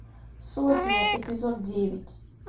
сотня эпизод девять